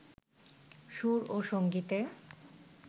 সুর ও সংগীতে